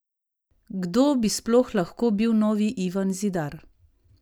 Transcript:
Kdo bi sploh lahko bil novi Ivan Zidar?